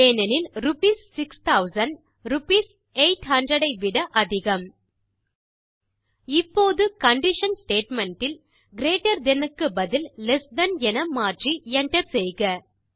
ஏனெனில் rupees 6000 rupees 800 ஐ விட அதிகம் இப்போது கண்டிஷன் ஸ்டேட்மெண்ட் இல் கிரீட்டர் தன் க்கு பதில் லெஸ் தன் என மாற்றி Enter செய்க